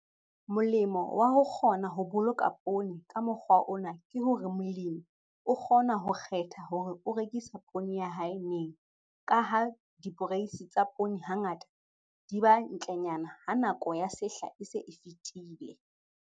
Molemo wa ho kgona ho boloka poone ka mokgwa ona ke hore molemi o kgona ho kgetha hore o rekisa poone ya hae neng, ka ha diporeisi tsa poone hangata di ba ntlenyana ha nako ya sehla e se e fetile.